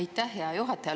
Aitäh hea juhataja!